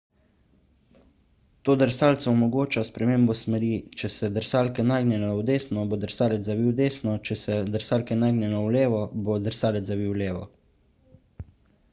to drsalcu omogoča spremembo smeri če se drsalke nagnejo v desno bo drsalec zavil desno če se drsalke nagnejo v levo bo drsalec zavil levo